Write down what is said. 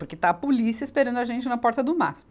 Porque está a polícia esperando a gente na porta do Maspe.